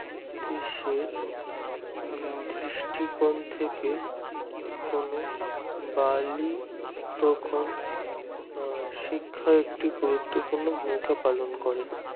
দেশের দৃষ্টি কোন থেকে কোনো বালি তখন আ শিক্ষা একটি গুরুত্বপূর্ণ ভূমিকা পালন করে